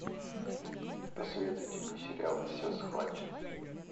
посоветуйте мне сериал все схвачено